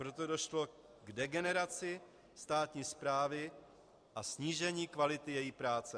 Proto došlo k degeneraci státní správy a snížení kvality její práce.